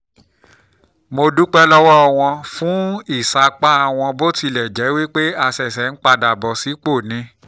mo dúpẹ́ lọ́wọ́ wọn fún ìsapá wọn bó tilẹ̀ jẹ́ pé a ṣẹ̀ṣẹ̀ ń padà bọ̀ sípò ni